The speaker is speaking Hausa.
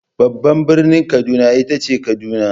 Babban birnin Kaduna ita ce Kaduna.